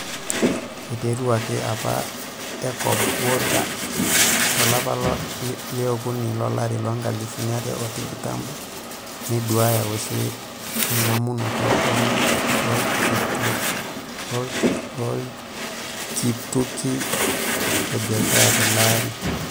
Eiteruaki apa Ecobodaa tolaapa leokuni lolari loonkalifuni are o tikitam neduaaya oshi engamunoto oo ltukituki le biashara tele arii.